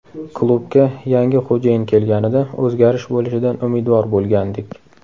Klubga yangi xo‘jayin kelganida, o‘zgarish bo‘lishidan umidvor bo‘lgandik.